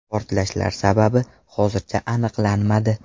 Portlashlar sababi hozircha aniqlanmadi.